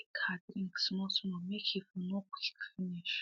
she dey drink her drink small small make he for no quick finish